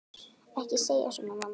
Ekki segja svona, mamma.